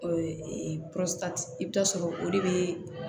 i bɛ taa sɔrɔ o de bɛ